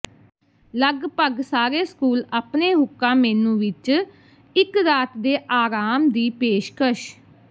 ਲਗਭਗ ਸਾਰੇ ਸਕੂਲ ਆਪਣੇ ਹੁੱਕਾ ਮੇਨੂ ਵਿੱਚ ਇੱਕ ਰਾਤ ਦੇ ਆਰਾਮ ਦੀ ਪੇਸ਼ਕਸ਼